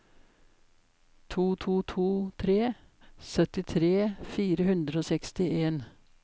to to to tre syttitre fire hundre og sekstien